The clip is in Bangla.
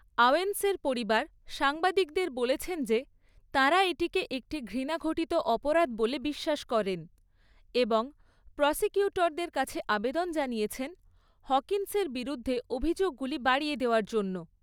আওয়েন্সের পরিবার সাংবাদিকদের বলেছেন যে তাঁরা এটিকে একটি ঘৃণাঘটিত অপরাধ বলে বিশ্বাস করেন এবং প্রসিকিউটরদের কাছে আবেদন জানিয়েছেন হকিন্সের বিরুদ্ধে অভিযোগগুলি বাড়িয়ে দেওয়ার জন্য।